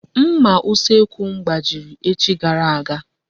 Nmà usekwu m gbajiri echi gara aga.